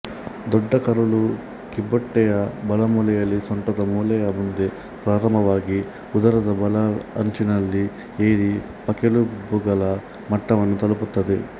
ದೊಡ್ಡ ಕರುಳು ಕಿಬ್ಬೊಟ್ಟೆಯ ಬಲಮೂಲೆಯಲ್ಲಿ ಸೊಂಟದ ಮೂಳೆಯ ಮುಂದೆ ಪ್ರಾರಂಭವಾಗಿ ಉದರದ ಬಲ ಅಂಚಿನಲ್ಲಿ ಏರಿ ಪಕ್ಕೆಲುಬುಗಳ ಮಟ್ಟವನ್ನು ತಲುಪುತ್ತದೆ